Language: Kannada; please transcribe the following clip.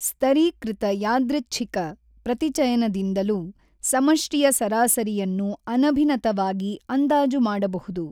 ಸ್ತರೀಕೃತ ಯಾದೃಚ್ಛಿಕ ಪ್ರತಿಚಯನದಿಂದಲೂ ಸಮಷ್ಟಿಯ ಸರಾಸರಿಯನ್ನು ಅನಭಿನತವಾಗಿ ಅಂದಾಜು ಮಾಡಬಹುದು.